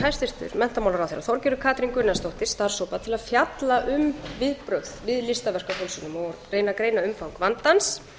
hæstvirtur menntamálaráðherra þorgerður katrín gunnarsdóttir starfshóp til að fjalla um viðbrögð við listaverkafölsunum og reyna að greina umfang vandans